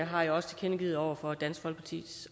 har jeg også tilkendegivet over for dansk folkepartis